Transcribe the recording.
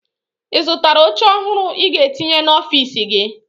Ị zụtara oche ọhụrụ ị ga-etinye n'ọfiisi gị?